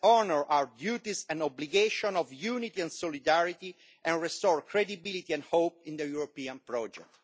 Let us honour our duty and obligation of unity and solidarity and restore credibility and hope in the European project.